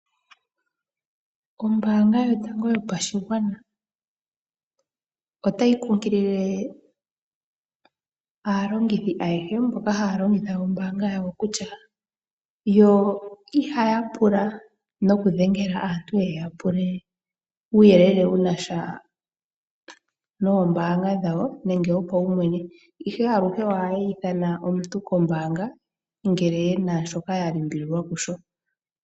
Ombaanga yotango yopashigwana otayi kunkilile aalongithi ayehe mboka haya longitha ombaanga yotango yopashigwana kutya yo ihaya pula nokudhengela aantu ye ya pule uuyelele wu na sha nombaanga dhawo nenge wopaumwene. Aluhe ohaye yi ithana omuntu kombaanga ngele ye na shoka ya limbililwa kusho.